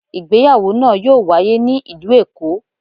ìgbéyàwò naa yoo waye ni ilu Eko.